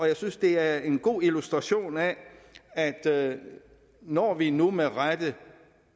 jeg synes det er en god illustration af at at når vi nu med rette